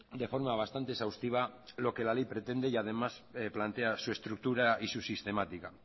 de forma bastante exhaustiva lo que la ley pretende y además plantea su estructura y su sistemática